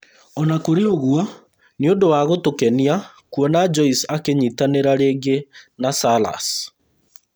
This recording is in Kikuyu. Ona kũrĩ ũguo, nĩ ũndũ wa gũtũkenia kuona Joyce akĩnyitanĩra rĩngĩ na Salas